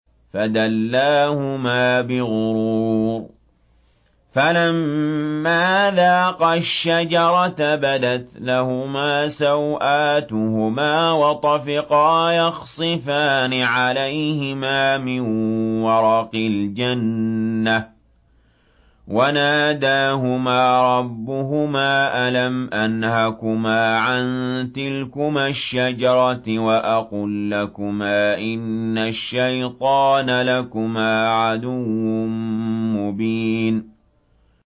فَدَلَّاهُمَا بِغُرُورٍ ۚ فَلَمَّا ذَاقَا الشَّجَرَةَ بَدَتْ لَهُمَا سَوْآتُهُمَا وَطَفِقَا يَخْصِفَانِ عَلَيْهِمَا مِن وَرَقِ الْجَنَّةِ ۖ وَنَادَاهُمَا رَبُّهُمَا أَلَمْ أَنْهَكُمَا عَن تِلْكُمَا الشَّجَرَةِ وَأَقُل لَّكُمَا إِنَّ الشَّيْطَانَ لَكُمَا عَدُوٌّ مُّبِينٌ